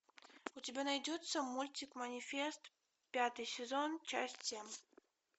у тебя найдется мультик манифест пятый сезон часть семь